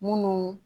Munnu